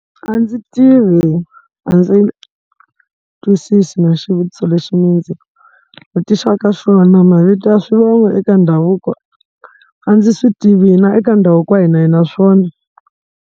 A ndzi tivi a ndzi twisisi na xivutiso lexi mi ndzi vutisaka xona, mavito ya swivongo eka ndhavuko a ndzi swi tivi hina eka ndhavuko wa hina a hi na swona.